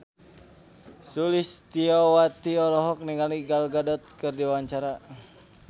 Sulistyowati olohok ningali Gal Gadot keur diwawancara